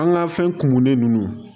An ka fɛn kumunen ninnu